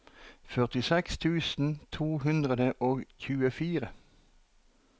førtiseks tusen to hundre og tjuefire